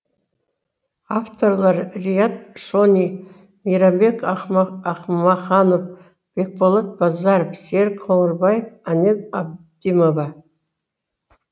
авторлары риат шони мейрамбек ахмаханов бекболат базаров серік қоңырбаев анель абдимова